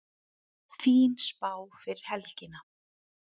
Fín spá fyrir helgina